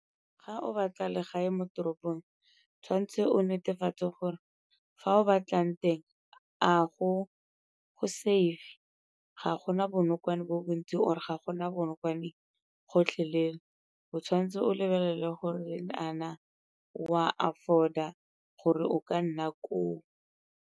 Ga o batla legae mo toropong tshwanetse o netefatse gore fa o batlang teng a go safe, ga gona bonokwane bo bontsi or-e ga gona bonokwane gotlhelele. O tshwanetse o lebelele gore a na o a afford-a gore o ka nna koo.